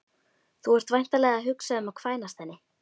Þú ert væntanlega að hugsa um að kvænast henni